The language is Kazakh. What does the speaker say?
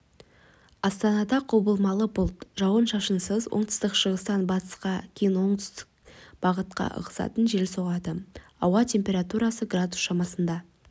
астанада құбылмалы бұлтты жауын-шашынсыз оңтүстік-шығыстан басталып кейін оңтүстік бағытқа ығысатын жел соғады ауа температурасы градус шамасында